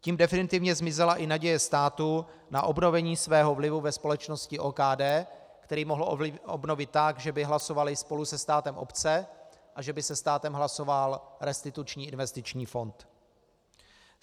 Tím definitivně zmizela i naděje státu na obnovení svého vlivu ve společnosti OKD, který mohl obnovit tak, že by hlasovaly spolu se státem obce a že by se státem hlasoval Restituční investiční fond.